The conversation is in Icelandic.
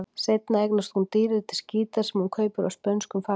Seinna eignast hún dýrindis gítar, sem hún kaupir af spönskum fagmanni.